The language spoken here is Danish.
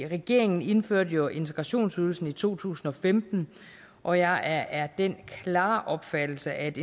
regeringen indførte jo integrationsydelsen i to tusind og femten og jeg er af den klare opfattelse at